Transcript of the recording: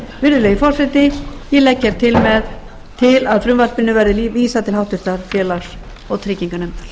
virðulegi forseti ég legg til að frumvarpinu verði vísað til annarrar umræðu og háttvirtur félags og trygginganefndar